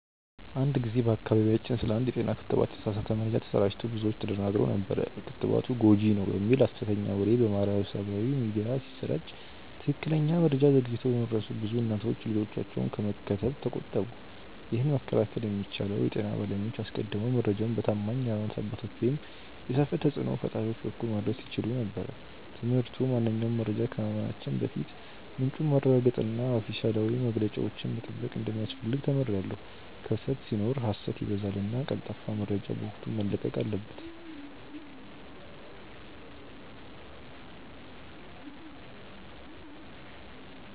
አንድ ጊዜ በአካባቢያችን ስለ አንድ የጤና ክትባት የተሳሳተ መረጃ ተሰራጭቶ ብዙዎች ተደናግረው ነበር። ክትባቱ ጎጂ ነው" የሚል ሀሰተኛ ወሬ በማህበራዊ ሚዲያ ሲሰራጭ ትክክለኛ መረጃ ዘግይቶ በመድረሱ ብዙ እናቶች ልጆቻቸውን ከመከተብ ተቆጠቡ። ይህንን መከላከል የሚቻለው የጤና ባለሙያዎች አስቀድመው መረጃውን በታማኝ የሀይማኖት አባቶች ወይም የሰፈር ተጽእኖ ፈጣሪዎች በኩል ማድረስ ሲችሉ ነበር። ትምህርቱ ማንኛውንም መረጃ ከማመናችን በፊት ምንጩን ማረጋገጥና ኦፊሴላዊ መግለጫዎችን መጠበቅ እንደሚያስፈልግ ተምሬያለሁ። ክፍተት ሲኖር ሀሰት ይበዛልና ቀልጣፋ መረጃ በወቅቱ መለቀቅ አለበት።